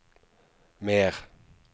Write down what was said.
mer